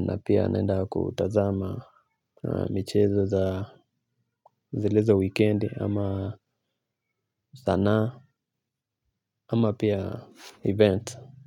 na pia naenda kutazama michezo za zile za wikendi ama sanaa ama pia event.